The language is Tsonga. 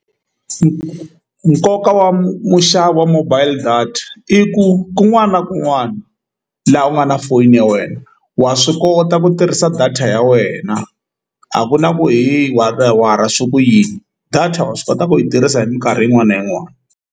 Nkoka wa muxavi wa mobile data i ku kun'wana na kun'wana laha u nga na foni ya wena wa swi kota ku tirhisa data ya wena a ku na ku heyi swi ku yini data wa swi kota ku yi tirhisa hi mikarhi yin'wana na yin'wana.